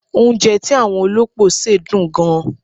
Oúnjẹ tí àwọn olópò ṣe dùn gan.